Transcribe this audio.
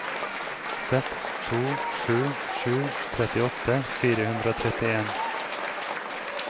seks to sju sju trettiåtte fire hundre og trettien